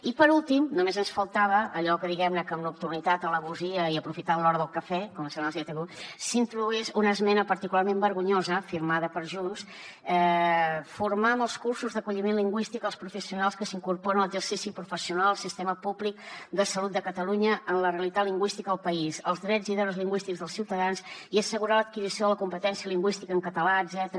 i per últim només ens faltava allò diguem ne que amb nocturnitat traïdoria i aprofitant l’hora del cafè com deia algú s’introduís una esmena particularment vergonyosa firmada per junts formar amb els cursos d’acolliment lingüístic els professionals que s’incorporen a l’exercici professional del sistema públic de salut de catalunya en la realitat lingüística del país els drets i deures lingüístics dels ciutadans i assegurar l’adquisició de la competència lingüística en català etcètera